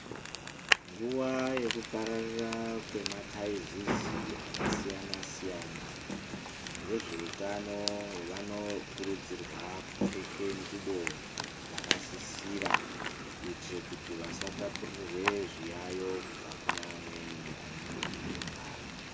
Nguwa yekuoararira kwemataizizi akasiyana siyana, vezveutano vanokurudzirwa kupfeke nxubo dzakasisira kuitire kuti vasatapurirwe zviyaiyo kubva kune amweni anenge eirwara.